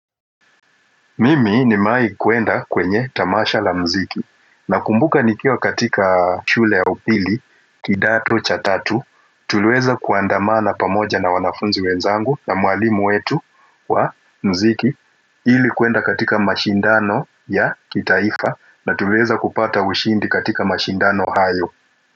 Mimi nimewai kuenda kwenye tamasha la mziki nakumbuka nikiwa katika shule ya upili kidato cha tatu tulieza kuandamana pamoja na wanafunzi wenzangu na mwalimu wetu wa mziki ili kuenda katika mashindano ya kitaifa na tulieza kupata ushindi katika mashindano hayo.